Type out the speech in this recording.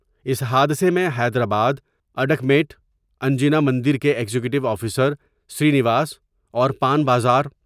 اس حادثہ میں حیدرآباد ، اڈ کیٹ ، انجنیا مندر کے ایگزیکٹیو آفیسر شری نواس اور پان بازار